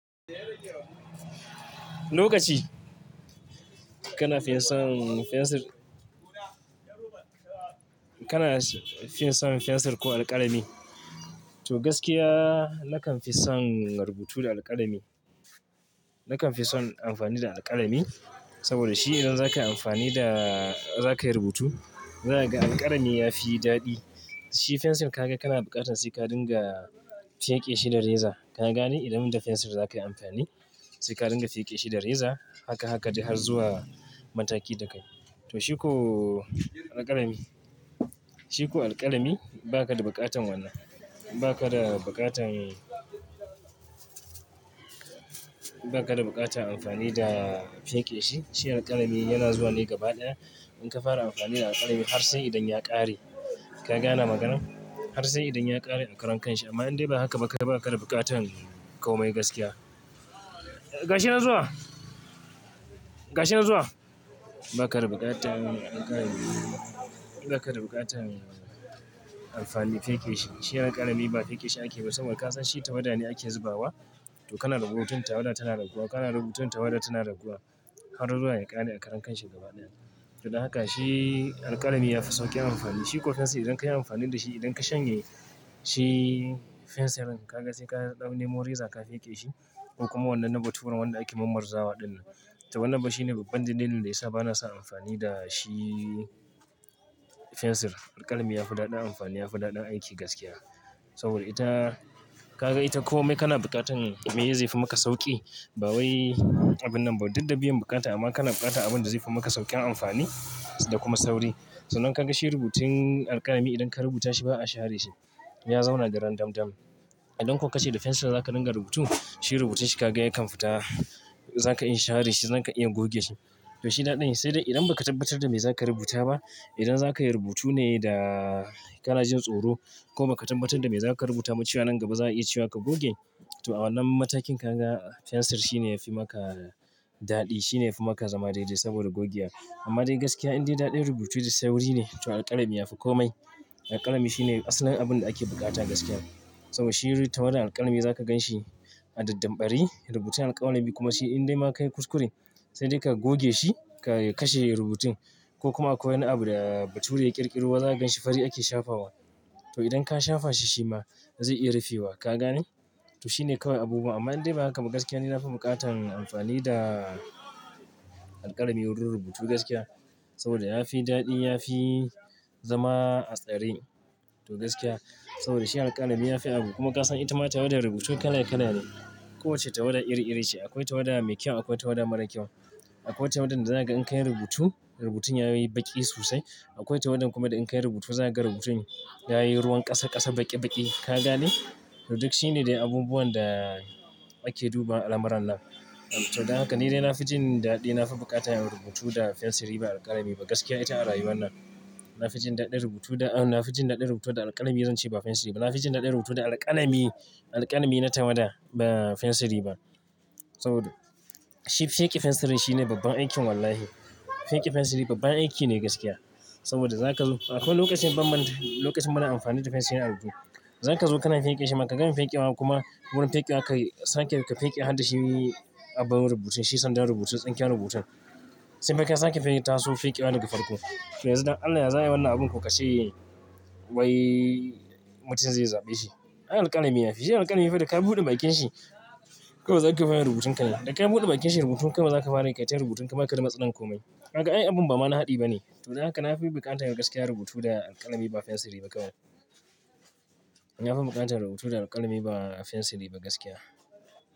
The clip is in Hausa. Lokaci kana finson fensir, ko alkalami. To gaskiya nakan fi son rubutu da alkalami. Nakan fi son amfani da alkalami saboda shi idan zaka amfani da, za ka yi rubutu. Zaka ga alkalami yafi daɗi. Shi fensirin ka ga kana buƙatan sai ka dinga fike shi da reza. Ka gane? Idan idan da fensir za ka yi amfani sai ka dinga fike shi da reza. Haka haka dai har zuwa mataki da kai. To shiko alkalami, shiko alkalami baka da buƙatan wannan. Baka da buƙatan, baka da buƙatan amfani da fike shi. Shi alkalami yana zuwa ne gabaɗaya. In ka fara amfani da alkalami har sai idan ya ƙare. Ka gane maganar? Har sai idan ya ƙare a karan kanshi amma in dai ba haka ba ka da buƙatan komai gaskiya. Gashi nan zuwa, gashi nan zuwa. Baka da buƙatan alkalami, baka da buƙatan amfani fike shi. Shi alkalami ba fike shi ake ba saboda ka san shi tawada ne ake zubawa. To kana rubutu tawada tana raguwa, kana rubutu tawada tana raguwa har zuwa ya ƙare a karan kanshi gabaɗaya. To dan haka shi alkalami yafi sauƙin amfani. Shiko fensir idan ka yi amfani da shi idan ka shanye shi fensirin ka ga sai ka ɗan nemo reza ka fike shi ko kuma wannan na bature wanda ake marmarzawa din nan. To wannan ba shine babban dalilin da yasa bana sa amfani da shi fensir. Alkalami yafi daɗin amfani, yafi daɗin aiki gaskiya. Saboda ita ka ga ita komai kana buƙatan me zefi maka sauƙi. Ba wai abun nan ba dik da biyan bukata amma kana buƙatan abun da zefi maka sauƙin amfani da kuma sauri. San nan ka ga shi rubutun alkalami idan ka rubuta shi ba a share shi. Ya zauna daren dandom dam. Idan kuwa ka ce da fensir za ka dinga rubutu, shi rubutun shi ka ga ya kan futa za ka iya share shi, za ka iya goge shi. To shi daɗin shi. Sai dai idan ba ka tabbatar da me za ka rubuta ba, idan za ka yi rubutu ne da kana jin tsoro ko ba ka tabbatar da me za ka rubuta mu cewa nan gaba za a iya cewa ka goge. To awannan matakin ka ga fensir shine yafi maka daɗi. Shine yafi maka zama daidai saboda gogewa. Amma dai gaskiya idan dai daɗin rubutu da sauri ne to alkalami yafi komai. Alkalami shine asalin abun da ake buƙata gaskiya. Saboda shi tawadan alkalami za ka gan shi a daddambare yi, rubutun alkalami kuma shi idan dai ma ka yi kuskure sai dai ka goge shi ka kashe rubutun ko kuma akwai wani abu da bature ya ƙirƙiro za ka gan shi fari ake shafa wa. To idan ka shafa shi shi ma zai iya rufewa. Ka gane? To shine kawai abubuwan amma idan bai haka ba gaskiya ni nafi buƙatan amfani da alkalami wurin rubutu gaskiya. Saboda yafi daɗi, yafi zama a tsare to gaskiya. Saboda shi alkalami yafi abu kuma ka san ita ma tawada rubutu kala kala ne. Kowacce tawada iri iri ce. Akwai tawada mai kyau akwai tawada mara kyau. Akwai tawadan da za ka gan in ka yi rubutu rubutun ya yi baƙi sosai. Akwai tawada kuma da in ka yi rubutu za ka gan rubutun ya yi ruwan ƙasa ƙasa baƙi baƙi. Ka gane? To duk shine dai abubuwan da ake duba a lamarin nan. To dan haka ni dai nafi jin daɗi, nafi buƙata yin rubutu da fensiri ba alkalami ba gaskiya ita a rayuwar nan. Nafi jin daɗin rubutu da, nafi jin daɗin rubutu da alkalami zan ce ba fensiri ba. Nafi jin daɗin rubutu da alkalami, alkalami na tawada ba fensiri ba. Saboda shi fike fensirin shine babban aikin wallahi. Fike fensiri babban aiki ne gaskiya. Saboda za ka zo akwai lokacin bamman, lokacin bana amfani da fensirin a rubutu. Za ka zo kana fike shi maka gan feƙewa kuma wurin feƙewa ka, sake ka feƙe har da shi yi abun rubutu. Shi sandan rubutu tsinken rubutun. Sai ka sanke fike taso feƙewa daga farko. To yanzu dan Allah yaza yi wannan abun ko ka ce wai mutum zai zaɓe shi. Ai alkalami yafi, shi alkalami yafi da ka buɗe bakin shi kuma za ka fara yin rubutun ka nan. Da ka buɗe bakin shi rubutu kawai za ka fara yin kai ta rubutun baka da matsalan komai. Gaka ai abun ba wani haɗi ba ne. To haka nafi buƙatan gaskiya rubutu da alkalami ba fensiri ba kawai. Nafi buƙatan rubutu da alkalami ba fensiri ba gaskiya.